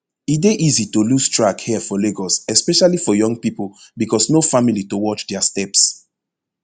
e dey easy to lose track here for lagos especially for young pipo becos no family to watch dia steps